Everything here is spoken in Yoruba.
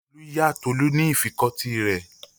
Olú yá Tolú ní ìfikọ́tí rẹ̀.